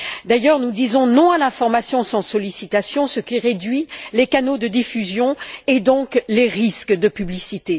D'ailleurs, nous disons non à la formation sans sollicitation, ce qui réduit les canaux de diffusion et donc les risques de publicité.